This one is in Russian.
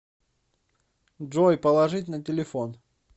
джой положить на телефон